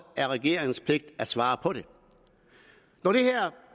er regeringens pligt at svare på det når det her